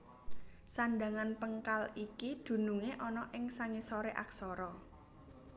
Sandhangan péngkal iki dunungé ana ing sangisoré aksara